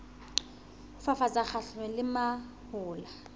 ho fafatsa kgahlanong le mahola